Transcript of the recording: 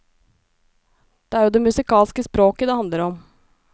Det er jo det musikalske språket det handler om.